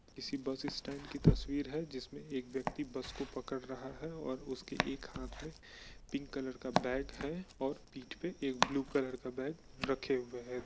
किसी bus stand की तस्वीर है जिसमें एक व्यक्ति बस को पकड़ रहा है और उसके एक हाँथ में पिंक कलर का बैग है और पीठ पे एक ब्लू कलर का बैग रखे हुए है।